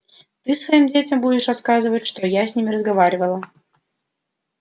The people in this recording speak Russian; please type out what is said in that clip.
ты своим детям будешь рассказывать что с ним разговаривала